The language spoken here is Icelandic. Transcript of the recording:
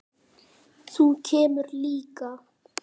Þú kemur líka.